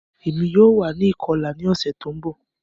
Emi yoo wa ni ikọla ni ọsẹ ti n bọ